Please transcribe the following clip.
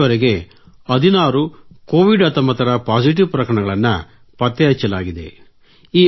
ಇಲ್ಲಿವರೆಗೆ 16 ಕೋವಿಡ್ 19 ರ ಪಾಸಿಟಿವ್ ಪ್ರಕರಣಗಳನ್ನು ಪತ್ತೆಹಚ್ಚಲಾಗಿದೆ